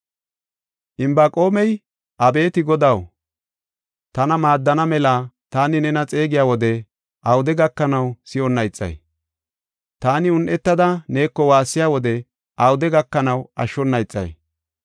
Inbaqoomey, “Abeeti Godaw, tana maaddana mela taani nena xeegiya wode awude gakanaw si7onna ixay? Taani un7etada neeko waassiya wode awude gakanaw ashshona ixay?